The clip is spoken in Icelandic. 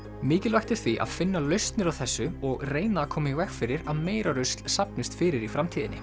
mikilvægt er því að finna lausnir á þessu og reyna að koma í veg fyrir að meira rusl safnist fyrir í framtíðinni